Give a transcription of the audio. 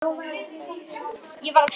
Hvað ef ég stæðist ekki námskröfurnar?